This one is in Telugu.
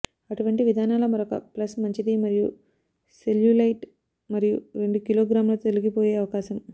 అటువంటి విధానాల మరొక ప్లస్ మంచిది మరియు సెల్యులాైట్ మరియు రెండు కిలోగ్రాముల తొలగిపోయే అవకాశం